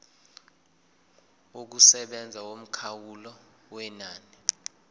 yokusebenza yomkhawulo wenani